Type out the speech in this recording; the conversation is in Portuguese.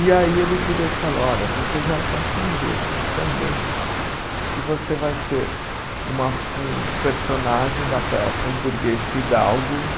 E aí ele virou e falou, olha, você já está tão bem, mas tão bem, que você vai ser uma um personagem da peça, o burguês Fidalgo,